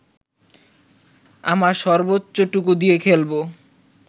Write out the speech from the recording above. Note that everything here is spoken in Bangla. আমার সর্বোচ্চটুকু দিয়েই খেলবো